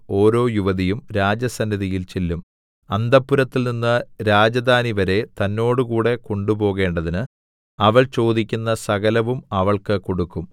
ഓരോ യുവതിയും രാജസന്നിധിയിൽ ചെല്ലും അന്തഃപുരത്തിൽനിന്ന് രാജധാനിവരെ തന്നോടുകൂടെ കൊണ്ടുപോകേണ്ടതിന് അവൾ ചോദിക്കുന്ന സകലവും അവൾക്ക് കൊടുക്കും